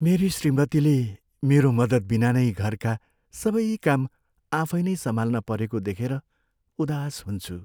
मेरी श्रीमतीले मेरो मद्दत बिना नै घरका सबै काम आफै नै सम्हाल्न परेको देखेर उदास हुन्छु।